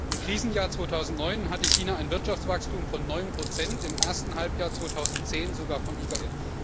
Im Krisenjahr 2009 hatte China ein Wirtschaftswachstum von 9 im ersten Halbjahr 2010 sogar von über